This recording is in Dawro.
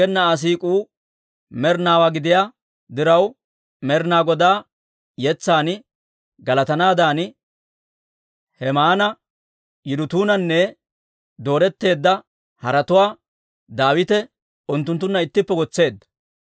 Aggena Aa siik'uu med'inaawaa gidiyaa diraw, Med'inaa Godaa yetsan galatanaadan Hemaana, Yidutuunanne dooretteedda haratuwaa Daawite unttunttunna ittippe wotseedda.